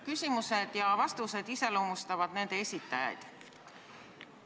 Küsimused ja vastused iseloomustavad nende esitajaid.